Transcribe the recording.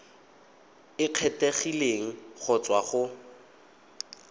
e kgethegileng go tswa go